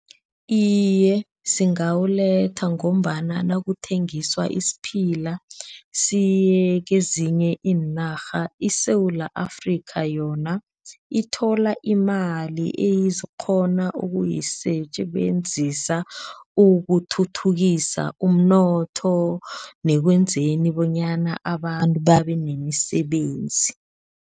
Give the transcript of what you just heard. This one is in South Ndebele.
Iye, singawuletha ngombana nakuthengiswa isiphila siye kezinye iinarha iSewula Afrika yona ithola imali eyizokghona ukuyisebenzisa ukuthuthukisa umnotho nekwenzeni bonyana abantu babe nemisebenzi.